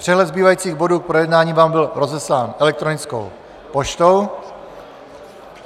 Přehled zbývajících bodů k projednání vám byl rozeslán elektronickou poštou.